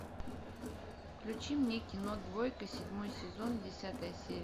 включи мне кино двойка седьмой сезон десятая серия